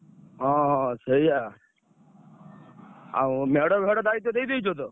ହଁ ହଁ ସେୟା ଆଉ ମେଢ ଫେଢ ଦାୟିତ୍ଵ ଦେଇ ଦେଇଛ ତ?